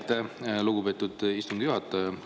Aitäh, lugupeetud istungi juhataja!